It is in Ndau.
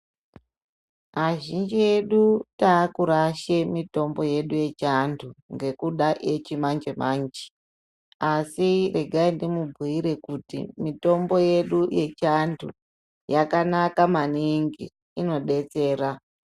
Azhinji edu taakurashe mitombo yedu yechiantu ngekuda yechimanje-manje. Asi regai ndimubhuire kuti mitombo yedu yechiantu yakanaka maningi, inodetsera.